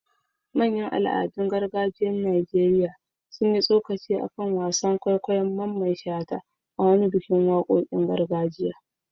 Manyan al'adun gargajiyar Najeriya sun yi tsokaci a kan wasan kwaikwayon Mamman Shata a wani bikin wakokin gargajiya.